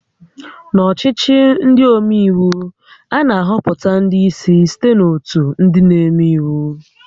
N'ọchịchị ndị omeiwu, a na-ahọpụta ndị ísí site na ótù ndị na-eme íwú